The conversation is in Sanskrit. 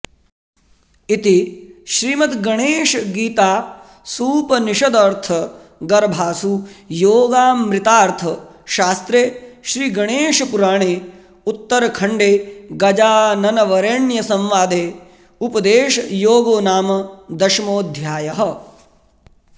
इति श्रीमद्गणेशगीतासूपनिषदर्थगर्भासु योगामृतार्थशास्त्रे श्रीगणेशपुराणे उत्तरखण्डे गजाननवरेण्यसंवादे उपदेशयोगो नाम दशमोऽध्यायः